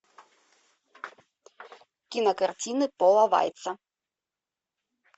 кинокартины пола вайца